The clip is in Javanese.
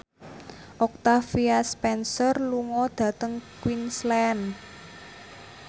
Octavia Spencer lunga dhateng Queensland